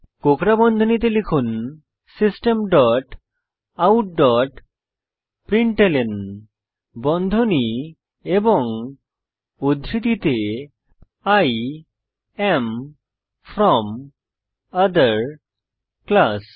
কোঁকড়া বন্ধনীতে system dot out dot println বন্ধনী এবং উদ্ধৃতিতে I am from other class